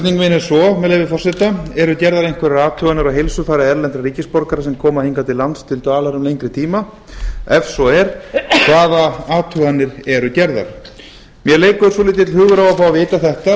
er svo með leyfi forseta eru gerðar einhverjar athuganir á heilsufari erlendra ríkisborgara sem koma hingað til lands til dvalar um lengri tíma ef svo er hvaða athuganir eru gerðar mér leikur svolítill hugur á að fá að vita þetta